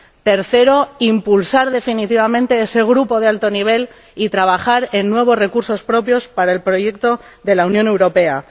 Tercera impulsar definitivamente ese grupo de alto nivel y trabajar en nuevos recursos propios para el proyecto de la Unión Europea.